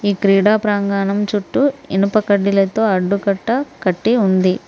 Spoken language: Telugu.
ఈ క్రీడా ప్రంగాణాం చుట్టు ఇనుప కడ్డీలతో అడ్డు కట్ట కట్టి ఉంది.